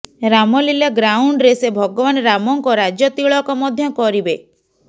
ରାମଲିଲା ଗ୍ରାଉଣ୍ଡରେ ସେ ଭଗବାନ ରାମଙ୍କ ରାଜତିଳକ ମଧ୍ୟ କରିବେ